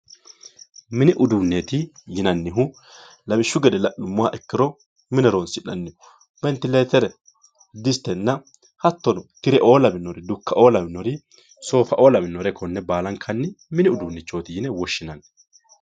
mini uduunneeti yinannihu lawishshu gede la'nummoha ikkiro mine horonsi'nanniho ventileetere distenna hattono dukka"o soofa"o lawinore konne baalanka mini uduunnichooti yine woshshinanni